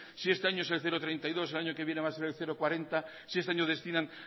si este año es el cero coma treinta y dos el año que viene va a ser el cero coma cuarenta si este año destinan